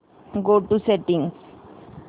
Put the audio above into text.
go to settings